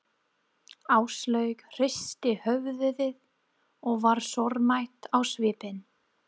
Áslaug hristi höfuðið og var sorgmædd á svipinn.